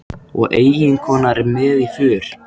Og eiginkonan er með í för.